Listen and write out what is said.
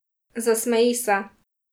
Zasmeji se.